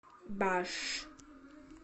баш